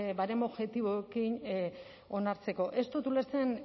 baremo objektiboekin onartzeko ez dut ulertzen